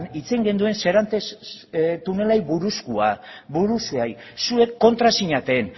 hitz egin genuen serantes tunelari buruzkoari zuek kontra zinaten